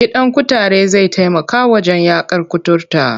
Gidan kutare zai taimaka wajen yaƙar kuturta.